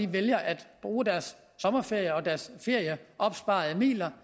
vælger at bruge deres sommerferie og deres opsparede midler